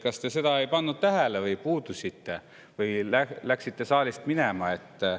Kas te seda ei pannud tähele või puudusite või läksite saalist minema?